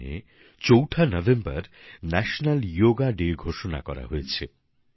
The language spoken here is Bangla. ওখানে চৌঠা নভেম্বর জাতীয় যোগ দিবস ঘোষণা করা হয়েছে